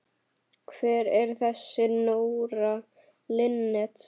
Hver er þessi Nóra Linnet?